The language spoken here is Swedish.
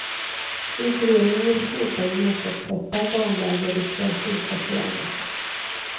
Utredningen vill slopa gemenskapsträffar, barnläger, rekreationsveckor och annat.